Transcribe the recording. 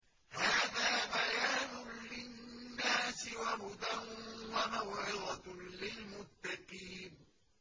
هَٰذَا بَيَانٌ لِّلنَّاسِ وَهُدًى وَمَوْعِظَةٌ لِّلْمُتَّقِينَ